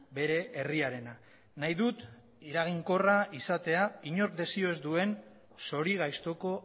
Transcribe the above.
bere herriarena nahi dut eraginkorra izatea inork desio ez duen zorigaiztoko